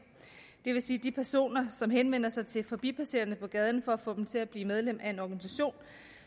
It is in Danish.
det vil sige de personer som henvender sig til forbipasserende på gaden for at få dem til at blive medlem af en organisation